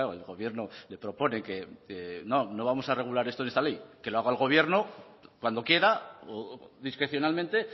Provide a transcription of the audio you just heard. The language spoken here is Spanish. el gobierno le propone que no no vamos a regular esto en esta ley que lo haga el gobierno cuando quiera discrecionalmente